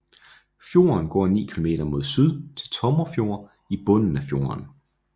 Fjorden går 9 kilometer mod syd til Tomrefjord i bunden af fjorden